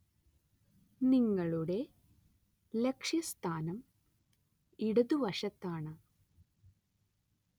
നിങ്ങളുടെ ലക്ഷ്യസ്ഥാനം ഇടതുവശത്താണ്.